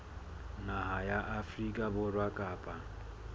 naha ya afrika borwa kapa